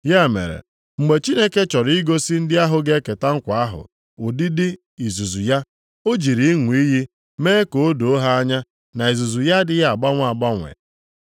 Ya mere, mgbe Chineke chọrọ igosi ndị ahụ ga-eketa nkwa ahụ, ụdịdị izuzu ya, o jiri ịṅụ iyi mee ka o doo ha anya na izuzu ya adịghị agbanwe agbanwe.